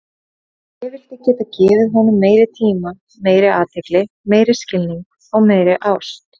Ég vildi geta gefið honum meiri tíma, meiri athygli, meiri skilning og meiri ást.